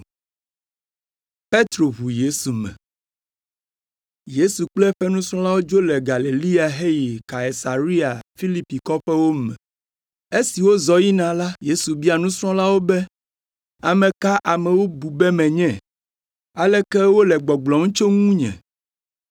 Yesu kple eƒe nusrɔ̃lawo dzo le Galilea heyi Kaisarea Filipi kɔƒewo me. Esi wozɔ yina la, Yesu bia nusrɔ̃lawo be, “Ame ka amewo bu be menye? Aleke wole gbɔgblɔm tso ŋunye?”